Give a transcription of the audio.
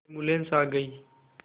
ambulance आ गई